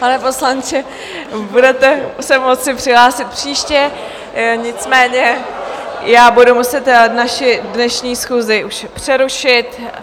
Pane poslanče, budete se moci přihlásit příště, nicméně já budu muset naši dnešní schůzi už přerušit.